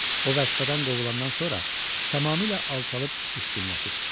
O vəzifədən qovulandan sonra tamamilə alçalıb düşkünləşibmiş.